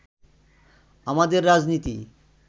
আমাদের রাজনীতি